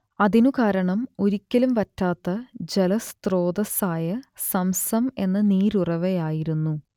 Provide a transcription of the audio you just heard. അതിനു കാരണം ഒരിക്കലും വറ്റാത്ത ജലസ്രോതസ്സായ സംസം എന്ന നീരുറവയായിരുന്നു